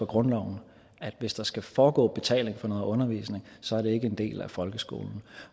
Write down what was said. grundloven at hvis der skal foregå betaling for noget undervisning så er det ikke en del af folkeskolen